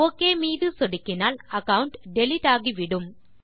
okay மீது சொடுக்கினால் account delete ஆகிவிடும்